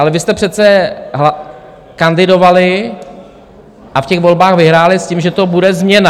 Ale vy jste přece kandidovali a v těch volbách vyhráli s tím, že to bude změna.